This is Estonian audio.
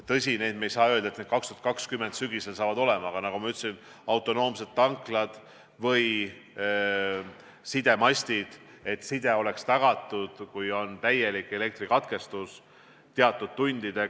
Tõsi, me ei saa öelda, et need 2020 sügisel saavad olema, aga nagu ma ütlesin, autonoomsed tanklad peavad olema ja sidemastides side tagatud ka siis, kui on täielik elektrikatkestus teatud tundideks.